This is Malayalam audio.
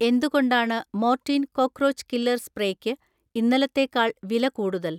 എന്തുകൊണ്ടാണ് മോർട്ടീൻ കോക്ക്രോച്ച് കില്ലർ സ്പ്രേയ്ക്ക് ഇന്നലത്തേക്കാൾ വിലക്കൂടുതൽ?